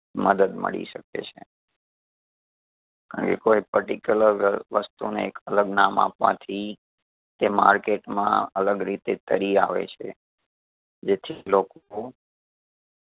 મદદ મળી શકે છે. કે કોઈ particular વ વસ્તુને એક અલગ નામ આપવાથી તે market માં અલગ રીતે તરી આવે છે. જેથી લોકો